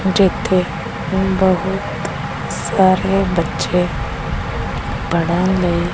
ਜਿੱਥੇ ਬਹੁਤ ਸਾਰੇ ਬੱਚੇ ਪੜ੍ਹਨ ਲਈ--